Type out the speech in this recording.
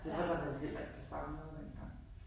Det var der vel heller ikke på samme måde dengang